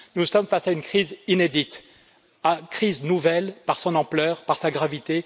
Nous sommes face à une crise inédite, une crise nouvelle par son ampleur, par sa gravité.